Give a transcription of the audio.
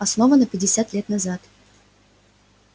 основана пятьдесят лет назад